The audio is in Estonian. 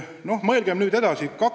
No mõelgem nüüd edasi!